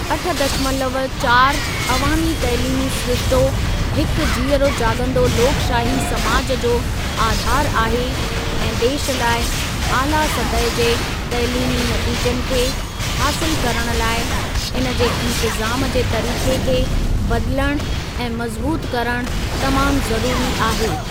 अठ दशमलव चारि अवामी तइलीमी सिरिश्तो हिकु जीअरो जाॻंदो लोकशाही समाज जो आधारु आहे ऐं देश लाइ आला सतह जे तइलीमी नतीजनि खे हासिल करण लाइ इनजे इंतज़ाम जे तरीके खे बदिलणु ऐं मज़बूत करणु तमामु ज़रूरी आहे।